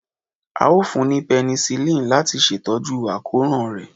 A o fún ni penicillin lati ṣe tọju akoran rẹ.